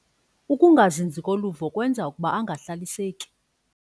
Ukungazinzi koluvo kwenza ukuba angahlaliseki.